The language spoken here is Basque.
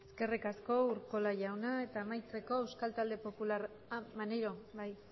eskerrik asko urkola jauna eta amaitzeko euskal talde popularra ah maneiro bai